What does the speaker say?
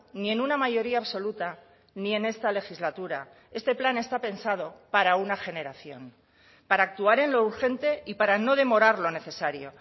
ni en una mayoría absoluta ni en esta legislatura este plan está pensado para una generación para actuar en lo urgente y para no demorar lo necesario